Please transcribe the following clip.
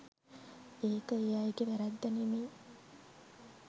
ඒක ඒ අයගේ වැරැද්ද නෙමේ.